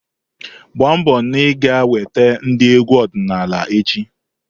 gbaa mbọ na ị ga-eweta ndị egwu ọdịnala echi!